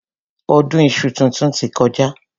Ọdún iṣu titun ti kọjá.